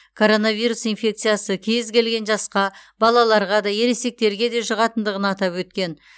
коронавирус инфекциясы кез келген жасқа балаларға да ересектерге де жұғатындығын атап өткен